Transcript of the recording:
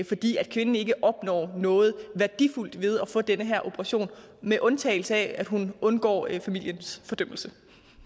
fordi kvinden ikke opnår noget værdifuldt ved at få den her operation med undtagelse af at hun undgår familiens fordømmelse